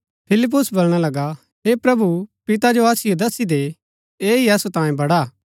फिलिप्पुस बलणा लगा हे प्रभु पिता जो असिओ दस्सी दे ऐह ही असु तांयें बडा हा